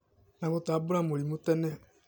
na gũtambũra mĩrimũ tene